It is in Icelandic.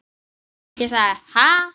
Ég sagði: Ha?